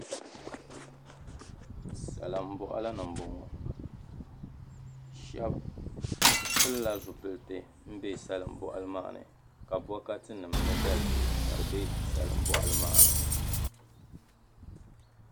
salimbɔɣili ni m-bɔŋɔ shɛba pilila zupiliti m-be salimbɔɣili maa ni ka bɔkatinima ni dalibihi ka di be salimbɔɣili maa ni